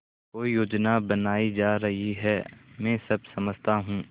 कोई योजना बनाई जा रही है मैं सब समझता हूँ